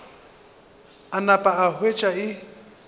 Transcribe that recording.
a napa a hwetša e